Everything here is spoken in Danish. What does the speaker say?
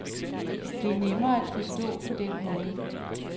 Det er nemmere at forstå på den måde.